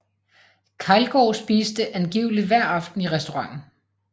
Keilgaard spiste angiveligt hver aften i restauranten